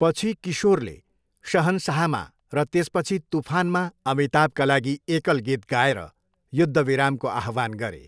पछि किशोरले शहनशाहमा र त्यसपछि तुफानमा अमिताभका लागि एकल गीत गाएर युद्धविरामको आह्वान गरे।